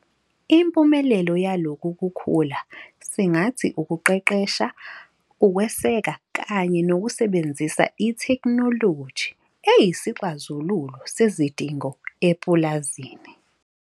Impumelelo yalokhu kukhula singathi ukuqeqesha, ukweseka kanye nokusebenzisa itheknoloji eyisixazululo sezidingo epulazini.